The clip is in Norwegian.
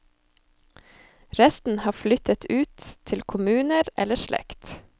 Resten har flyttet ut til kommuner eller slekt.